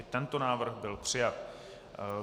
I tento návrh byl přijat.